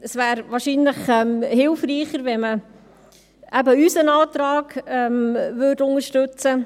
Es wäre wahrscheinlich hilfreicher, wenn man unseren Antrag unterstützte.